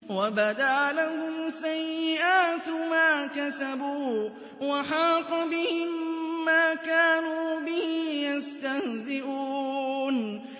وَبَدَا لَهُمْ سَيِّئَاتُ مَا كَسَبُوا وَحَاقَ بِهِم مَّا كَانُوا بِهِ يَسْتَهْزِئُونَ